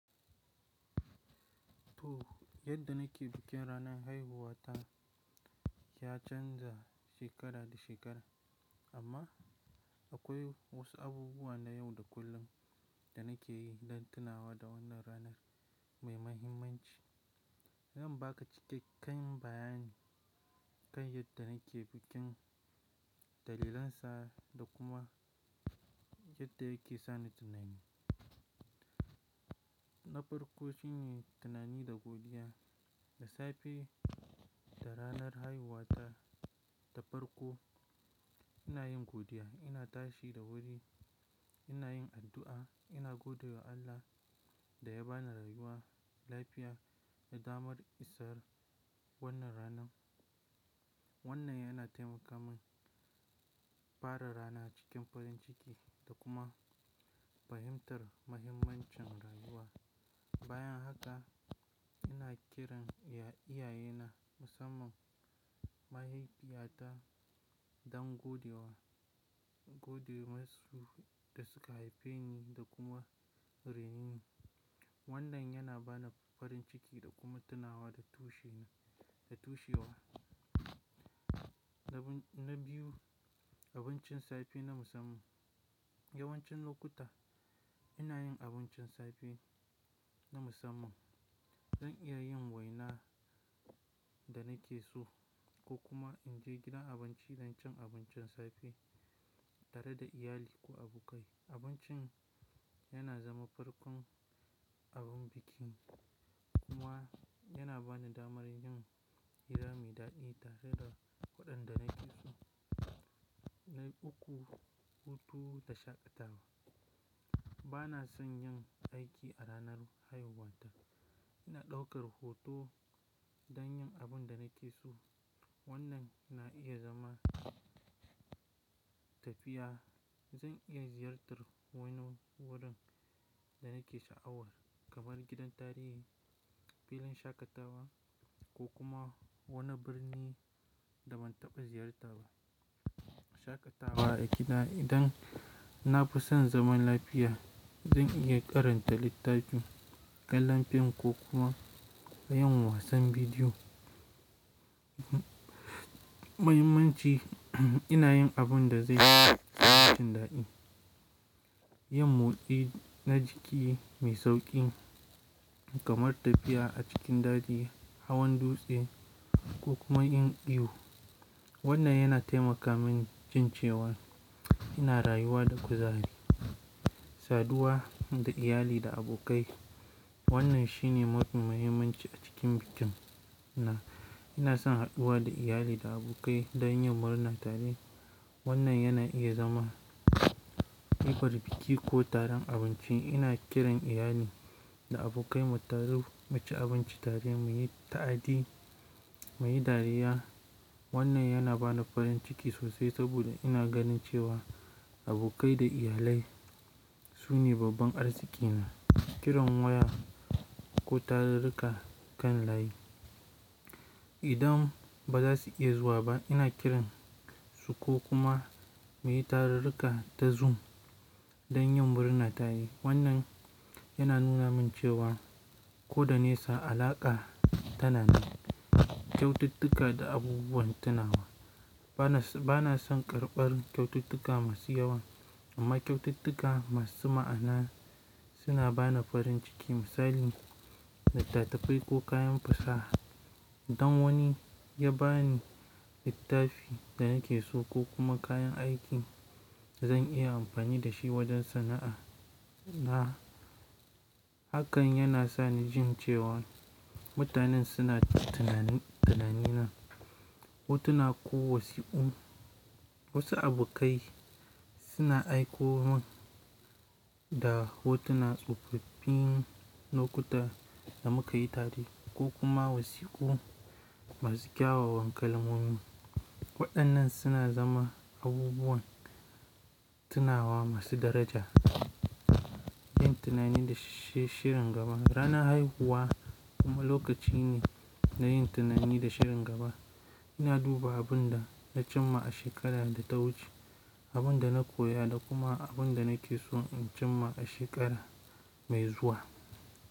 To, yadda nake bikin ranar haihuwa ta ya canza shekara da shekara. Amma akwai wasu abubuwa na yau da kullum da nake yi don tunawa da wannan ranar mai mahimmanci. Zan ba ka cikakken bayani kan yadda nake bikin, dalilansa da kuma yadda yake sa ni tunani. Na farko shine tunani da godiya. Da safe da ranar haihuwa ta ta farko ina yin godiya. Ina tashi da wuri, ina yin addu'a, ina gode wa Allah da ya ba ni rayuwa, lafiya da damar isar wannan ranar. Wannan yana taimaka min fara rana cikin farin ciki da kuma fahimtar mahimmancin rayuwa. Bayan haka ina kiran iyaye na musamman mahaifiyata don gode wa, gode masu da suka haife ni da kuma rai ne ni. Wannan yana ba ni farin ciki da kuma tunawa da tushe na, da tushe wa. Na biyu abincin safe na musamman. Yawancin lokuta ina yin abincin safe na musamman. Zan iya yin waina da nake so ko kuma in je gidan abinci don cin abincin safe tare da iyali ko abokai. Abincin yana zama farkon abin bikin kuma yana ba ni damar yin hira mai daɗi tare da waɗanda nake so. Na uku, hutu da shakatawa. Bana son yin aiki a ranar haihuwa ta. Ina ɗaukar hutu don yin abin da nake so. Wannan na iya zama tafiya. Zan iya ziyartar wani wurin da nake sha'awar kamar gidan tarihi, filin shakatawa ko kuma wani birni da ban taɓa ziyarta ba. Shakatawa a gida. Idan nafi son zaman lafiya, zan iya karanta littafi, kallon fim ko kuma yin wasan bidiyo. Muhimmanci ina yin abin da zai yi min daɗi. Yin motsi na jiki mai sauƙi kamar tafiya a cikin daji, hawan dutse ko kuma yin iyo. Wannan yana taimaka min jin cewa ina rayuwa da kuzari. Saduwa da iyali da abokai. Wannan shine mofi muhimmanci a cikin bikin na. Ina son haɗuwa da iyali da abokai don yin murna tare. Wannan yana iya zama ƙibar biki ko taron abinci. Ina kiran iyali da abokai mu taru mu ci abinci tare, mu yi ta'adi, mu yi dariya. Wannan yana ba ni farin ciki sosai saboda ina ganin cewa abokai da iyalai su ne babban arziki na. Kiran waya ko tarur-ruka kan layi. Idan ba za su iya zuwa ba ina kiran su ko kuma mu yi taru-ruka ta Zoom don yin murna tare. Wannan yana nuna min cewa ko da nisa alaƙa tana nan. Kyaututtuka da abubuwan tunawa. Bana, bana son karɓar kyaututtuka masu yawa amma kyaututtuka masu ma'ana suna ba ni farin ciki. Misali littattafai ko kayan fasaha. Dan wani ya ba ni littafin da nake so ko kuma kayan aiki zan iya amfani da shi wajen sana'a na. Hakan yana sa ni jin cewa mutanen suna tunani, tunanin na. Hotuna ko wasiƙu. Wasu abokai suna aiko min da hotuna tsufuffin lokuta da muka yi tare ko kuma wasiƙu masu kyawawan kalmomi. Waɗannan suna zama abubuwan tunawa masu daraja. Yin tunani da shi, shirin gaba. Ranar haihuwa kuma lokaci ne na yin tunani da shirin gaba. Ina duba abin da na cimma a shekarar da ta wuce, abin da na koya da kuma abin da nake so in cimma a shekara mai zuwa.